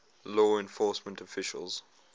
law enforcement officials